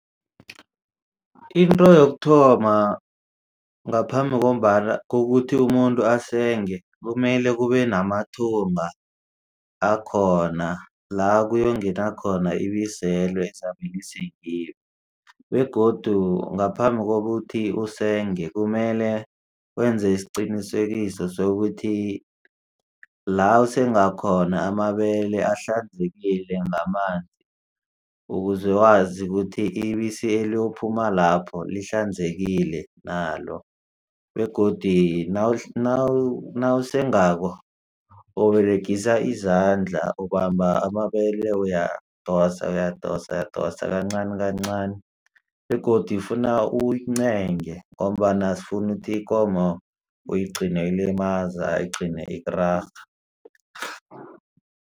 Into yokuthoma ngaphambi ngombana kukuthi umuntu asenge kumele kube namathunga akhona la kuyongena khona ibiseli ezabelisengiwe begodu ngaphambi kokuthi usenge kumele wenze isiqinisekiso sokuthi la usengakhona amabele ahlanzekile ngamanzi ukuze wazi kuthi ibisi eliyophuma lapho lihlanzekile nalo begodi nawusengako uberegisa izandla ubamba amabele uyadosa uyadosa yadosa kancani kancani begodu ifuna uyincenye ngombana asifuna ukuthi ikomo uyigcine uyilimaza igcine ikurarha.